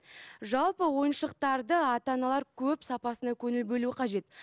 жалпы ойыншықтарды ата аналар көп сапасына көңіл бөлу қажет